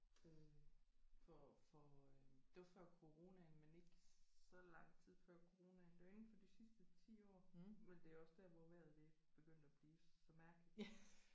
Øh for for øh det var før coronaen men ikke så lang tid før coronaen det var inden for de sidste 10 år men det er også der hvor vejret det er begyndt at blive så mærkeligt